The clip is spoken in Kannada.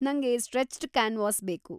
ನಂಗೆ ಸ್ಟ್ರೆಚ್ಡ್‌ ಕ್ಯಾನ್ವಾಸ್‌ ಬೇಕು.